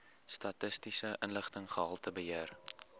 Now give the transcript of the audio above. statistiese inligting gehaltebeheer